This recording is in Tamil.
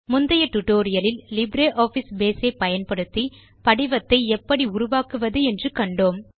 முந்தைய tutorialஇல் லிப்ரியாஃபிஸ் பேஸ் ஐ பயன்படுத்தி படிவத்தை எப்படி உருவாக்குவது என்று கண்டோம்